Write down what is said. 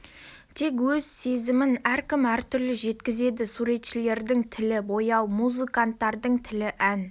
тек өз сезімін әркім әртүрлі жеткізеді суретшілердің тілі бояу музыканттардың тілі ән